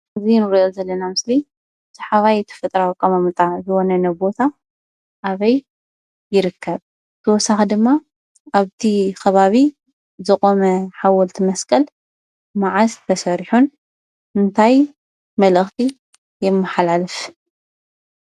እዚ እንሪኦ ዘለና ምሰሊ ሰሓባይን ተፈጥሮአዊ አቀማምጣ ዘለዎ ዝኮነ ቦታ አበይ ይርከብ? ብተወሳኪ ድማ አብቲ ከባቢ ዝቆመ ሓወልቲ መስቀል መዓዝ ተሰሪሑን እንታይ መልእክቲ የመሓላልፍ?